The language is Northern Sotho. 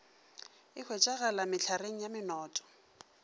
e hwetšegala mehlareng ya menoto